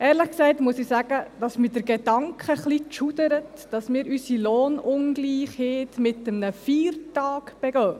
Ehrlich gesagt muss ich sagen, dass mich der Gedanke ein bisschen schaudern lässt, dass wir unsere Lohnungleichheit mit einem Feiertag begehen.